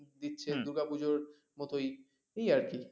দিচ্ছে দুর্গা পুজোর মতই এই আরকি